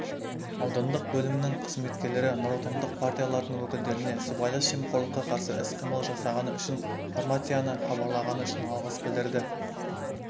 аудандық бөлімнің қызметкерлері нұротандық партиялардың өкілдеріне сыбайлас жемқорлыққа қарсы іс-қимыл жасағаны үшін формацияны хабарлағаны үшін алғыс білдірді